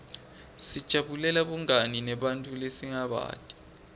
sijabulela bungani nebantfu lesingabati